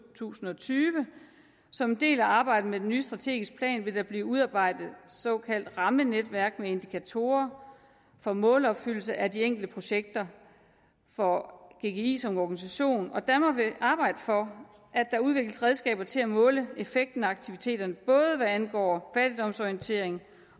tusind og tyve som en del af arbejdet med den nye strategiske plan vil der blive udarbejdet såkaldte rammenetværk med indikatorer for målopfyldelse af de enkelte projekter for gggi som organisation og danmark vil arbejde for at der udvikles redskaber til at måle effekten af aktiviteterne både hvad angår fattigdomsorientering